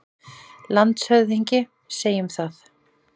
LANDSHÖFÐINGI: Segjum það.